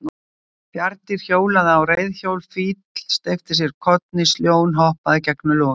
Bjarndýr hjólaði á reiðhjóli, fíll steypti sér kollhnís, ljón hoppaði gegnum logandi gjörð.